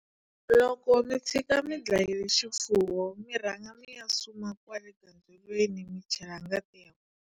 Loko mi tshika mi dlayile xifuwo mi rhanga mi ya suma kwale gandzelweni mi chela ngati ya kona.